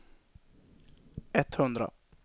etthundra